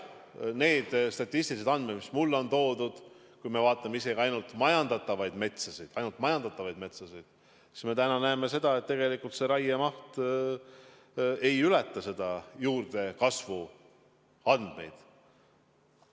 Need statistilised andmed, mis mulle on toodud – kui vaatame isegi ainult majandatavaid metsasid, siis näeme täna seda, et tegelikult raiemaht ei ületa juurdekasvu andmeid.